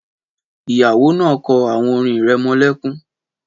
Ìyá náà kọ́ àwon orin irẹmọlẹ́kún.